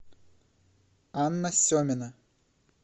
анна семина